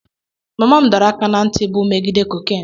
Mama m dọrọ aka ná ntị bụ megide cocaine.